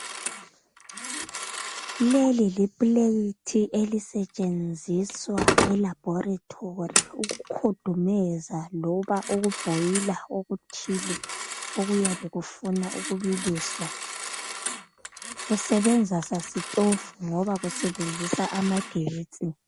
Leli lipuleyithi elisetshenziswa eLabhorethori ukukhudumeza loba ukubhoyila okuthile okuyabe kufuna ukubiliswa. Kusebenza sasitofu ngoba kusebenzisa amagetsi.